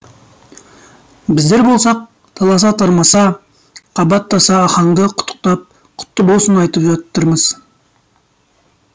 біздер болсақ таласа тармаса қабаттаса ахаңды құттықтап құтты болсын айтып жатырмыз